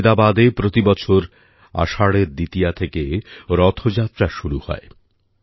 গুজরাটের আমদাবাদে প্রতিবছর আষাঢ়ের দ্বিতীয়া থেকে রথযাত্রা শুরু হয়